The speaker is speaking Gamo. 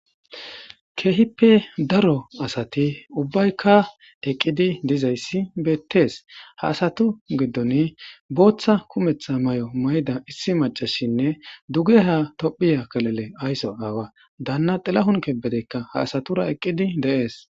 Keehippe daro asati ubbaykka eqqidi dizayssi beettees ha asatu giddon booththa kumetha may7o mayda issi macashinne duge ha tophiya kalele aysso aawa daanna dilahunke bedeykka ha asatura eqqidi deees